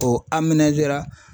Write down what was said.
O ra.